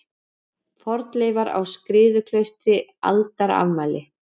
Fornleifar á Skriðuklaustri Aldarafmæli.